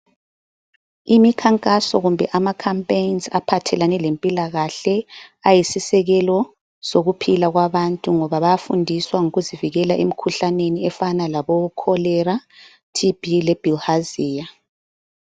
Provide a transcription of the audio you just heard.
Imikhankaso kumbe ama"campaigns" aphathelane lempilakahle ayisisekelo sokuphila kwabantu ngoba bayafundiswa ngokuzivikela emikhuhlaneni efana labo cholera, T.B le bilharzia.